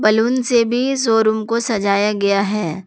Balloon से भी showroom को सजाया गया है।